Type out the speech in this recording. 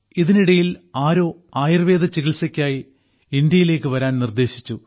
ഇതിനിടയിൽ ആരോ ആയുർവേദ ചികിൽസയ്ക്കായി ഇന്ത്യയിലേക്ക് വരാൻ നിർദ്ദേശിച്ചു